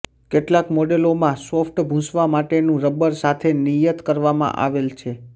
કેટલાક મોડેલોમાં સોફ્ટ ભૂંસવા માટેનું રબર સાથે નિયત કરવામાં આવે છે